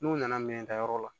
N'u nana minɛntayɔrɔ la